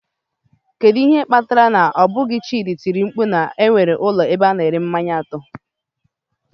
Kedu ihe kpatara na ọ bụghị, chidi tiri mkpu na nwere ụlọ ebe a na-ere mmanya atọ.